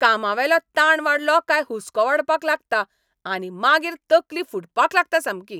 कामावेलो ताण वाडलो काय हुसको वाडपाक लागता आनी मागीर तकली फुटपाक लागता सामकी.